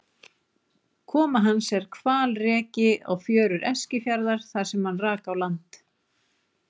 Koma hans er hvalreki á fjörur Eskifjarðar þar sem hann rak á land.